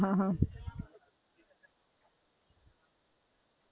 અચ્છા, હાં, હાં, હાં.